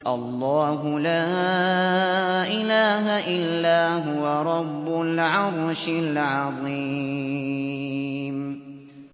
اللَّهُ لَا إِلَٰهَ إِلَّا هُوَ رَبُّ الْعَرْشِ الْعَظِيمِ ۩